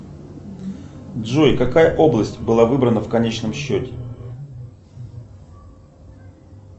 джой какая область была выбрана в конечном счете